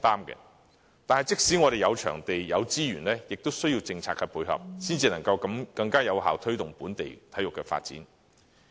可是，即使有場地、資源，亦需要政策的配合，才能夠更有效地推動本地的體育發展。